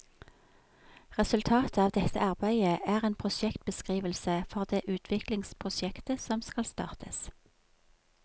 Resultatet av dette arbeidet er en prosjektbeskrivelse for det utviklingsprosjektet som skal startes.